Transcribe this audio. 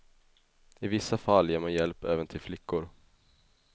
I vissa fall ger man hjälp även till flickor.